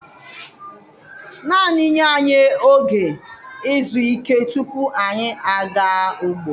Naanị nye anyị oge izu ike tupu anyị aga ugbo.